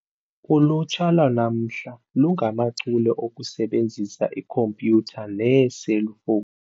Ulutsha lwanamhla lungachule okusebenzisa ikhompyutha neeselfowuni.